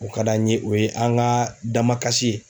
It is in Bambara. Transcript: O ka d'an ye o ye an ka damakasi ye.